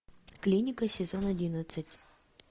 клиника сезон одиннадцать